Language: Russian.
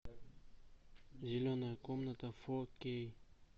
зеленая комната фо кей